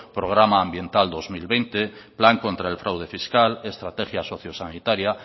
programa ambiental dos mil veinte plan contra el fraude fiscal estrategia socio sanitaria